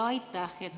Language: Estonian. Aitäh!